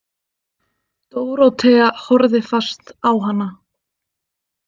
Dórótea horfði fast á hana.